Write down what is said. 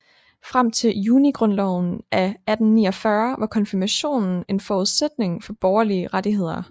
Frem til Junigrundloven af 1849 var konfirmationen en forudsætning for borgerlige rettigheder